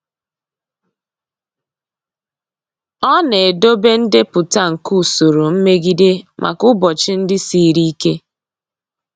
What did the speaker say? Ọ na-edobe ndepụta nke usoro mmegide maka ụbọchị ndị siri ike.